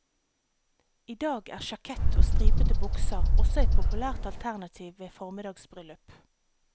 I dag er sjakett og stripete bukser også et populært alternativ ved formiddagsbryllup.